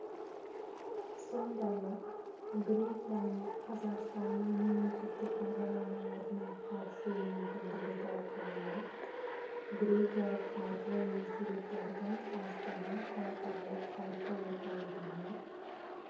сондай-ақ грекияның қазақстанның мемлекеттік бағдарламаларына қатысу мүмкіндігі талқыланып грекиялық қаржы институттардың астана халықаралық қаржы орталығымен